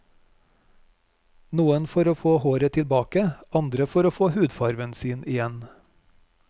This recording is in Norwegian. Noen for å få håret tilbake, andre for å få hudfarven sin igjen.